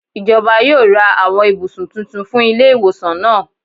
Ijọba yoo ra awọn ibusun titun fun ile-iwosan naa.